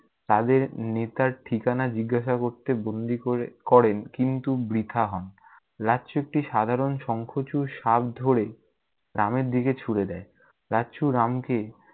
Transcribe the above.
তাদের নেতার ঠিকানা জিজ্ঞাসা করতে গুল্লি করে~ করেন, কিন্তু বৃথা হন। রাগচুট্টি সাধারণ শঙ্খচুর শাঁখ ধরে, রামের দিকে ছুঁড়ে দেয়। রাচ্ছু রামকে-